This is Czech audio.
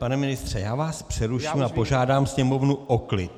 Pane ministře, já vás přeruším a požádám Sněmovnu o klid.